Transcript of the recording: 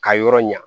Ka yɔrɔ ɲa